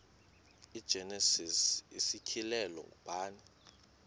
igenesis isityhilelo ngubani